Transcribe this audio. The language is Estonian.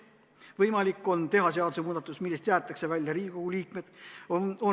Võimalik on teha seadusemuudatus, millest jäetakse välja Riigikogu liikmed.